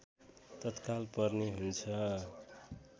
तत्काल पर्ने हुन्छ